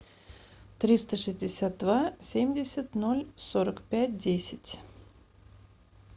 триста шестьдесят два семьдесят ноль сорок пять десять